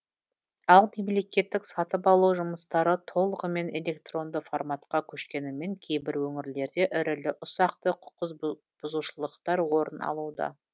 ал мемлекеттік сатып алу жұмыстары толығымен электронды форматқа көшкенімен кейбір өңірлерде ірілі ұсақты құқықбұзушылықтар орын алуда